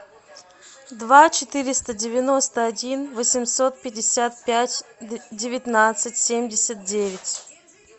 два четыреста девяносто один восемьсот пятьдесят пять девятнадцать семьдесят девять